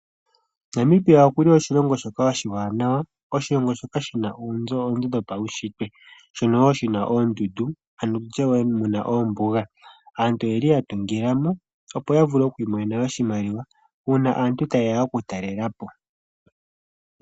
Namibia okuli oshilongo shoka oshiwanawa oshilongo shoka shina oonzo odhindji dhopaushitwe shono wo shina oondundu ,mo omuna wo oombuga aantu oyeli ya tungila mo opo ya vule okwi imonena oshimaliwa uuna aantu tayeya okutalela po.